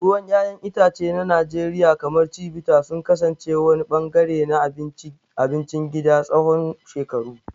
Ruwan 'ya'yan itace na Najeriya, kamar Chivita, sun kasance wani ɓangare na abincin gida tsawon shekaru.